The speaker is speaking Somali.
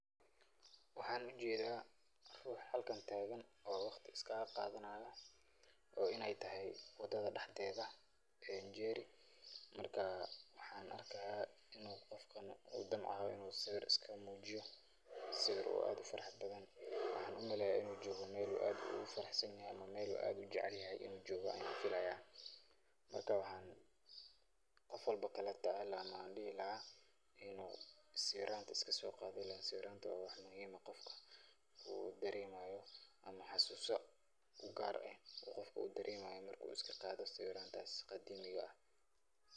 Waxaan ujeeda ruux halkan taagan oo waqti is kaaga qaadanayo, oo inaay tahay wadada dexdeeda [Njeri]marka waxaan arkaa inuu qofkan damcaayo inuu sawir iskaga muujiyo, sawiir oo aad ufarxad badan, waxaan umaleeya inuu joogo meel uu aad ugu faraxsan yahay, meel uu aad ujecelyahay inuu joogo ayaan filaaya, marka waxaan qof walbo dihi lahaa inuu sawiiranta iska soo qaado ileen sawiiranta waa wax muhiim ah, qofka uu dareemayo ama xasuuso ugaar ah uu qofka dareemayo marka uu iska qaado sawiirantaas qadiimiga ah.